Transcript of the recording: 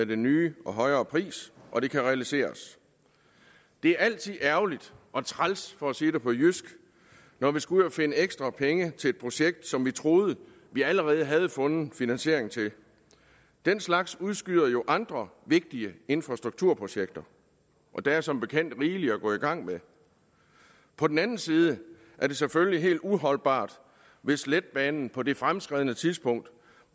den nye og højere pris og det kan realiseres det er altid ærgerligt og træls for at sige det på jysk når vi skal ud at finde ekstra penge til et projekt som vi troede vi allerede havde fundet finansiering til den slags udskyder jo andre vigtige infrastrukturprojekter og der er som bekendt rigeligt at gå i gang med på den anden side er det selvfølgelig helt uholdbart hvis letbanen på det fremskredne tidspunkt